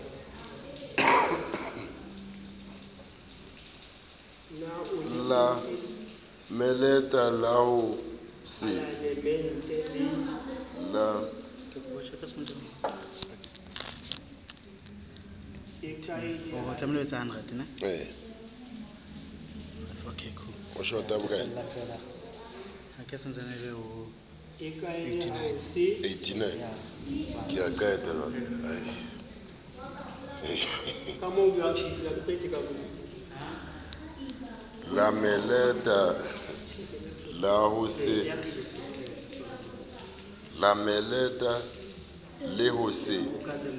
la melata le ho se